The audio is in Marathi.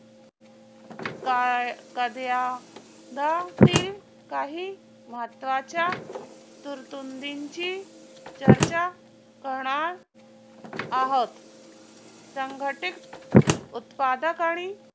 काही महत्वाच्या तरतुदींची चर्चा करणार आहोत संघटित उत्पादक आणि